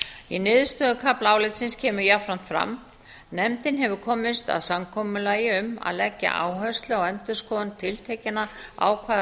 í niðurstöðukafla álitsins kemur jafnframt fram nefndin hefur komist að samkomulagi um að leggja áherslu á endurskoðun tiltekinna ákvæða